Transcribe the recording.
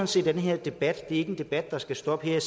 set at den her debat ikke er en debat der skal stoppe nu